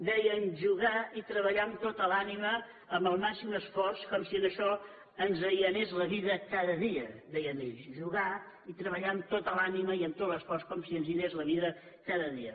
deien jugar i treballar amb tota l’ànima amb el màxim esforç com si en això ens hi anés la vi da cada dia deien ells jugar i treballar amb tota l’à nima i amb tot l’esforç com si ens hi anés la vida cada dia